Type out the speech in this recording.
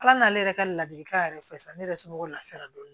Ala n'ale yɛrɛ ka ladilikan yɛrɛ fɛ sisan ne yɛrɛ somɔgɔw lafiyara dɔni